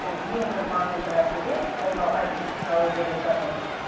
сол ең бір маңызды мәселе ол мынау айти технология деп жатырмыз